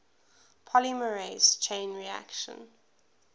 polymerase chain reaction